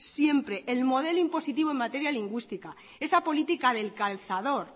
siempre el modelo impositivo en materia lingüística esa política del calzador